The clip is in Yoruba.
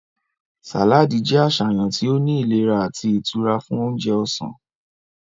Saladi jẹ aṣayan ti o ni ilera ati itura fun ounjẹ ọsan.